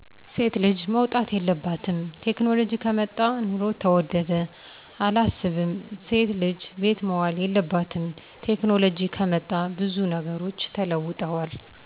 ሴት ልጅ መውጣት የለባትም፣ ቴክኖሎጂ ከመጣ ኑሮ ተወደደ፦ አላስብም እሴት ልጅ ቤት መዋል የለባትም፣ ቴክኖሎጅ ከመጣ ብዙ ነገሮች ተለውጠዋል